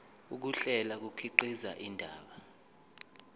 ukuhlela kukhiqiza indaba